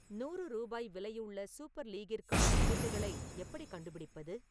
நூறு ரூபாய் விலையுள்ள சூப்பர் லீக்கிற்கான டிக்கெட்டுகளை எப்படிக் கண்டுபிடிப்பது?